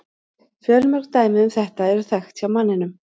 Fjölmörg dæmi um þetta eru þekkt hjá manninum.